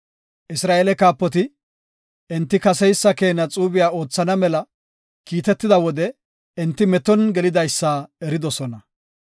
Isra7eele kaapoti, enti kaseysa keena xuube oothana mela kiitetida wode enti meton gelidaysa eridosona.